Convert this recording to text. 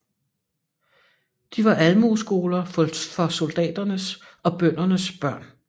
De var Almueskoler for soldaternes og bøndernes børn